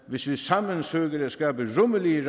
hvis vi sammen søger at skabe rummelige